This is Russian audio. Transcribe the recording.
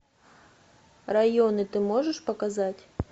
районы ты можешь показать